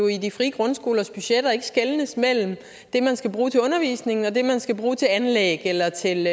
i de frie grundskolers budgetter jo ikke skelnes mellem det man skal bruge til undervisning og det man skal bruge til anlæg eller til